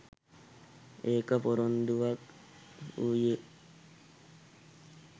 එක් පොරොන්දුවක් වූයේ